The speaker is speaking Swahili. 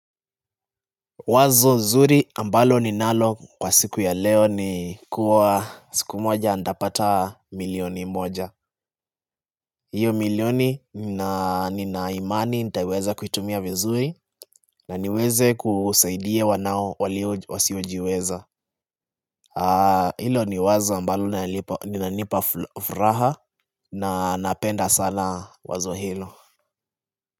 Wazo zuri ambalo ninalo kwa siku ya leo ni kuwa siku moja nitapata milioni moja hiyo milioni nina nina imani nitaiweza kuitumia vizuri na niweze kusaidia wanao walio wasiojiweza Hilo ni wazo ambalo linanipa furaha na napenda sana wazo hilo.